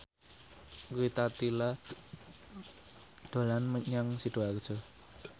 Rita Tila dolan menyang Sidoarjo